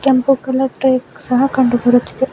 ಕೆಂಪು ಕಲರ್ ಟ್ರೈಕ್ ಸಹ ಕಂಡು ಬರುತ್ತಿದೆ.